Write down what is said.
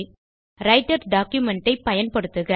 writer documentஐ பயன்படுத்துக